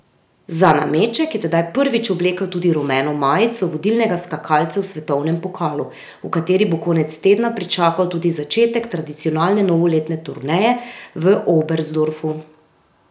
Za nameček je tedaj prvič oblekel tudi rumeno majico vodilnega skakalca v svetovnem pokalu, v kateri bo konec tedna pričakal tudi začetek tradicionalne novoletne turneje v Oberstdorfu.